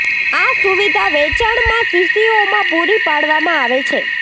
આ સુવિધા વેચાણ માં શીશીઓ માં પૂરી પાડવામાં આવે છે